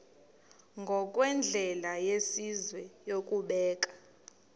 ngokwendlela yesizwe yokubeka